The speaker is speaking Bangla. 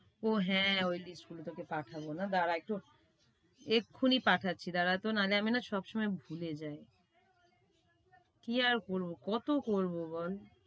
ও হ্যাঁ, ওই list গুলো তোকে পাঠাবো না দ্বারা একটু এক্ষুনি পাঠাচ্ছি দাঁড়াত নাহলে আমি না সবসময় ভুলে যায়। কি আর করবো কতো করবো বল?